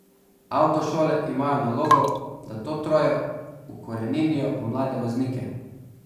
Avtošole imajo nalogo, da to troje ukoreninijo v mlade voznike.